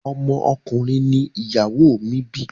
Ọmọ ọkùnrin ni ìyàwó mi bi.